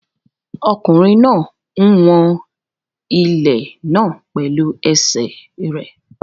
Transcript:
Ọkùnrin náà ń wọn ilẹ̀ náà pẹ̀lú ẹsẹ̀ rẹ̀.